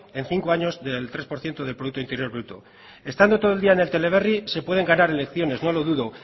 en cinco años del tres por ciento del producto interior bruto estando todo el día en el teleberri se pueden ganar elecciones no lo dudo